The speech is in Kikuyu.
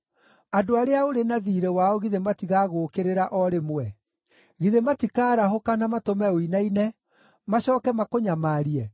Andũ arĩa ũrĩ na thiirĩ wao githĩ matigagũũkĩrĩra o rĩmwe? Githĩ matikaarahũka, na matũme ũinaine, macooke makũnyamarie?